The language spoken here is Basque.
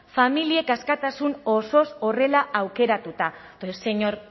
familiek askatasun osoz horrela aukeratuta señor